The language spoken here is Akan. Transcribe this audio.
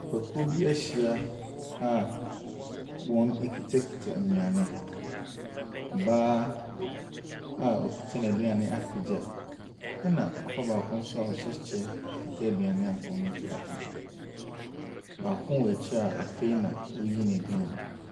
Nnipakuo bi ahyia a wɔn kutakuta nnuane. Ɔbaa a ɔkuta ne aduane apegya ɛna papa baako nso a ɔhyɛ kyɛ apegya. Baako wɔ akyire a afei na ɔreyi nɛ adua.